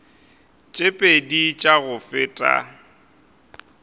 tše pedi tša go feta